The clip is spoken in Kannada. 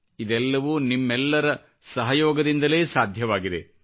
ಇದೆಲ್ಲವೂ ನಿಮ್ಮೆಲ್ಲರ ಸಹಯೋಗದಿಂದಲೇ ಸಾಧ್ಯವಾಗಿದೆ